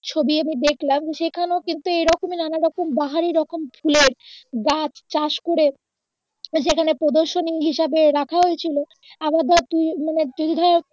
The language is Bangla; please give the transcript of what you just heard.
ছবি আমি দেখলাম সেখানেও কিন্তু এইরকমই নানা রকম বাহারী রকম ফুলের গাছ চাষ করে যেখানে প্রদর্শনী হিসেবে রাখা হয়ে ছিলো আবার ধর তুই মানে তুই ধর